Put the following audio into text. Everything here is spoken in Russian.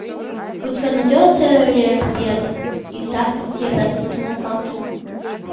у тебя найдется рерберг и тарковский обратная сторона сталкера